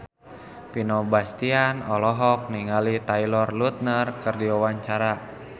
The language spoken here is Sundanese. Vino Bastian olohok ningali Taylor Lautner keur diwawancara